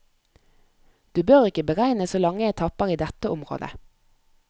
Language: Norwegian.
Du bør ikke beregne så lange etapper i dette området.